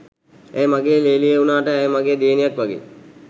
ඇය මගේ ‍ලේලිය වුණාට ඇය මගේ දියණියක් වගෙයි